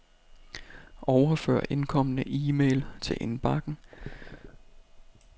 Overfør indkomne e-mail til indbakken.